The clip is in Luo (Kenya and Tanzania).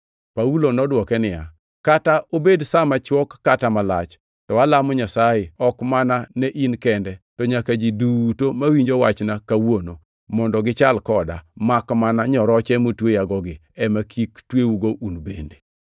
Paulo nodwoke niya, “Kata obed sa machwok kata malach, to alamo Nyasaye ok mana ne in kende, to nyaka ni ji duto mawinjo wachna kawuono, mondo gichal koda, makmana nyoroche motweyagogi ema kik tweugo un bende.”